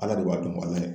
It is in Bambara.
Ala de b'a dun balimaya